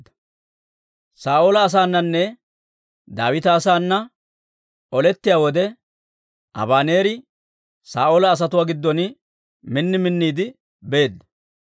Saa'oola asaananne Daawita asaana olettiyaa wode, Abaneeri Saa'oola asatuwaa giddon min minniide beedda.